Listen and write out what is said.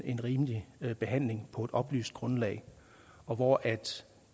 en rimelig behandling på et oplyst grundlag og at